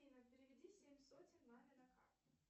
афина переведи семь сотен маме на карту